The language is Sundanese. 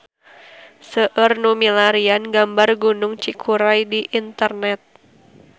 Seueur nu milarian gambar Gunung Cikuray di internet